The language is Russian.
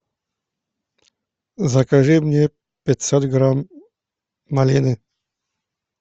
закажи мне пятьсот грамм малины